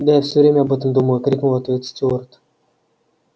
да я всё время об этом думаю крикнул в ответ стюарт